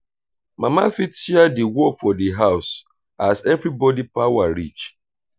mama fit share di work for di house as everybody power reach